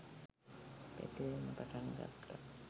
පැතිරෙන්න පටන් ගත්තා